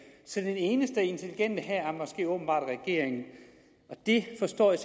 så den eneste intelligente her er åbenbart regeringen det forstår jeg